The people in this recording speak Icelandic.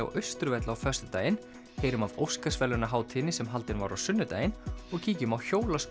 á Austurvelli á föstudaginn heyrum af Óskarsverðlaunahátíðinni sem haldin var á sunnudaginn og kíkjum á